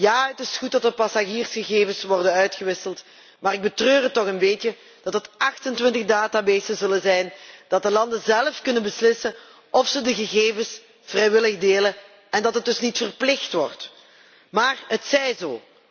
Ja, het is goed dat er passagiersgegevens worden uitgewisseld, maar ik betreur het toch wel een beetje dat het 28 databases zullen zijn, dat de landen zelf kunnen beslissen of ze de gegevens vrijwillig delen en dat dit dus niet verplicht wordt. Maar het zij zo.